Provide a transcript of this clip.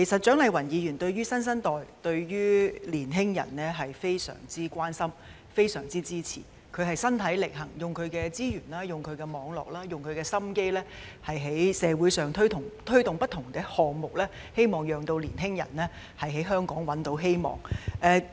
蔣麗芸議員對於新生代、對於青年人是非常關心和支持的，她身體力行，用她的資源、網絡和心機，在社會上推動不同的項目，希望青年人在香港找到希望。